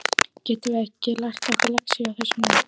Getum við lært okkar lexíu á þessum leik?